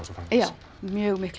einmitt mjög